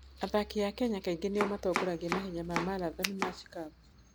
Athaki a Kenya kaingĩ nĩo matongoragia mahenya ma marathoni ma Chicago.